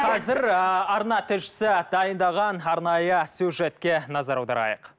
қазір ыыы арна тілшісі дайындаған арнайы сюжетке назар аударайық